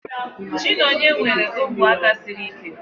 Chinenye nwere ogwe aka siri ike